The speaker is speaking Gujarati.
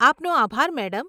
આપનો આભાર, મેડમ.